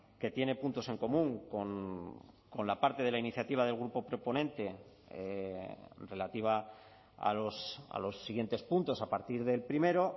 que tiene puntos en común con la parte de la iniciativa del grupo proponente relativa a los siguientes puntos a partir del primero